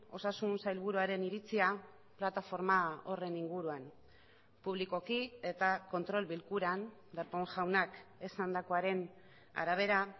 osasun sailburuaren iritzia plataforma horren inguruan publikoki eta kontrol bilkuran darpón jaunak esandakoaren arabera